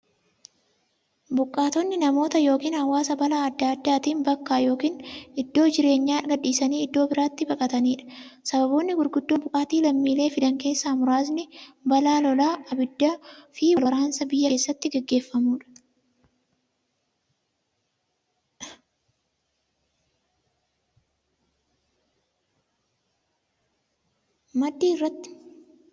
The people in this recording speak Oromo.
Buqqaatonni namoota yookiin hawaasa balaa adda addaatiin bakka yookiin iddoo jireenyaa gadhiisanii iddoo birootti baqataniidha. Sababoonni gurguddoon buqqaatii lammiilee fidan keessaa muraasni; balaa lolaa, ibiddaafi wal waraansa biyya keessatti gaggeeffamuudha.